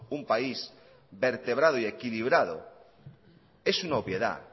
un país vertebrado y equilibrado es una obviedad